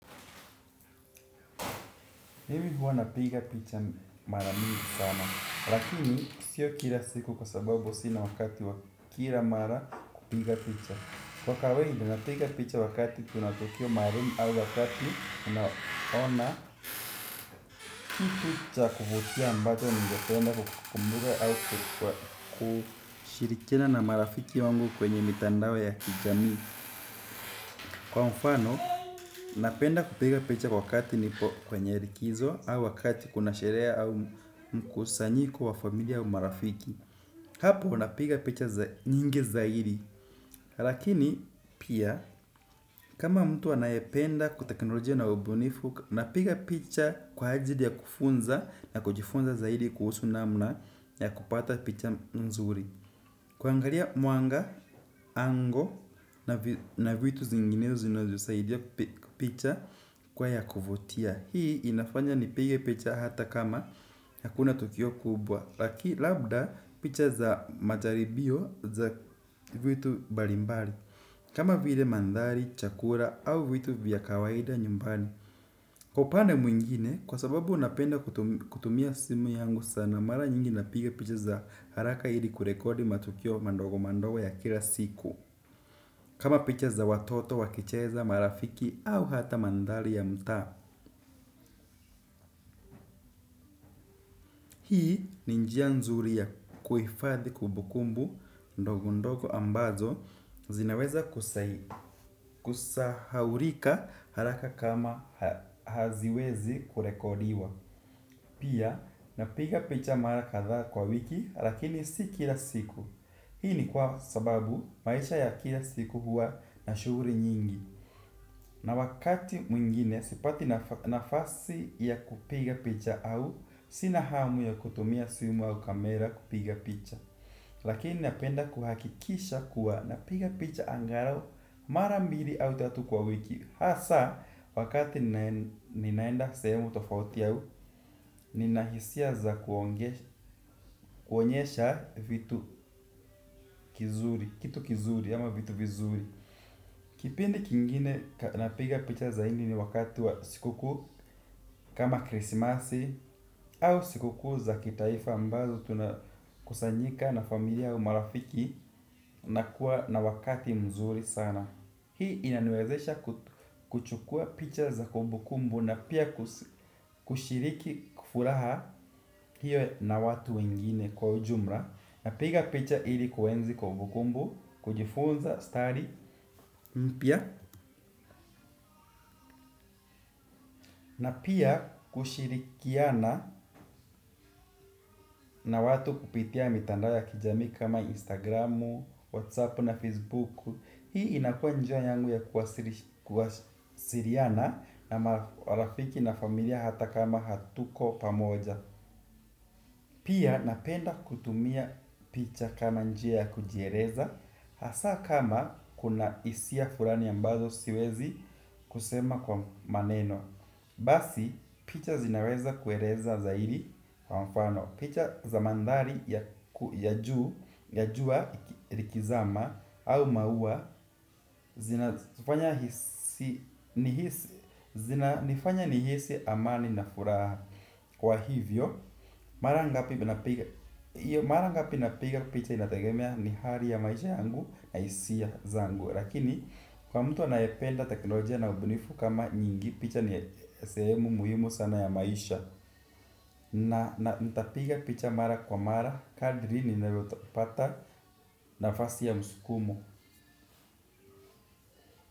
Mimi huwa napiga picha mara nyingi sana. Lakini sio kila siku kwa sababu sina wakati wa kila mara kupiga picha. Kwa kawaida napiga picha wakati kuna tukio maalumu. Au wakati unaona kitu cha kuvutia ambacho ningependa kukikumbuka. Au kushirikiana na marafiki wangu kwenye mitandao ya kijamii. Kwa mfano napenda kupiga picha wakati niko kwenye likizo au wakati kuna sherehe au mkusanyiko wa familia au marafiki. Hapo napiga picha nyingi zaidi. Lakini pia kama mtu anayependa teknolojia na ubunifu napiga picha kwa ajili ya kufunza na kujifunza zaidi kuhusu namna ya kupata picha nzuri. Kuangalia muanga, ango na vitu zinginezo zinazosaidia picha kuwa ya kuvutia. Hii inafanya nipige picha hata kama hakuna tukio kubwa labda picha za majaribio za vitu mbalimbali. Kama vile mandhari, chakula au vitu vya kawaida nyumbani. Kwa upande mwingine, kwa sababu napenda kutumia simu yangu sana, mara nyingi napiga picha za haraka ili kurekodi matukio madogo madogo ya kila siku. Kama picha za watoto wakicheza, marafiki au hata mandhari ya mtaa. Ninjia nzuri ya kuhifadhi kubukumbu ndogo ndogo ambazo zinaweza kusahaulika haraka kama haziwezi kurekodiwa. Pia, napiga picha mara kadhaa kwa wiki lakini si kila siku. Hii ni kwa sababu maisha ya kila siku huwa na shughuli nyingi. Na wakati mwingine sipati nafasi ya kupiga picha au sina hamu ya kutumia simu au kamera kupiga picha. Lakini napenda kuhakikisha kuwa napiga picha angalau mara mbili au tatu kwa wiki. Hasa wakati ninaenda sehemu tofauti au nina hisia za kuonyesha vitu kizuri. Kitu kizuri ama vitu vizuri. Kipindi kingine napiga picha zaidi ni wakati wa sikukuu kama krisimasi au sikukuu za kitaifa ambazo tunakusanyika na familia au marafiki na kuwa na wakati mzuri sana. Hii inaniwezesha kuchukua picha za kumbukumbu na pia kushiriki kufurahia hiyo na watu wengine kwa ujumla. Napiga picha ili kuenzi kumbukumbu, kujifunza, stali, mpya. Na pia kushirikiana na watu kupitia mitandao ya kijamii kama instagram, whatsapp na facebook. Hii inakuwa njia yangu ya kuwasiliana na marafiki na familia hata kama hatuko pamoja. Pia napenda kutumia picha kama njia ya kujieleza. Hasa kama kuna hisia fulani ambazo siwezi kusema kwa maneno. Basi, picha zinaweza kueleza zaidi kwa mfano. Picha za mandhari ya ya jua likizama au maua. Zinanifanya nihisi amani na furaha. Kwa hivyo, mara ngapi mara ngapi napiga picha inategemea ni hali ya maisha yangu na hisia zangu. Lakini kwa mtu anayependa teknolojia na ubunifu kama nyingi picha ni sehemu muhimu sana ya maisha. Na nitapiga picha mara kwa mara, kadri ninavyopata nafasi ya msukumo.